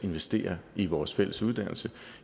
investere i vores fælles uddannelse